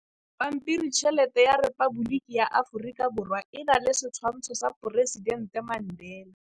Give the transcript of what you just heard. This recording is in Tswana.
Pampiritšheletê ya Repaboliki ya Aforika Borwa e na le setshwantshô sa poresitentê Mandela.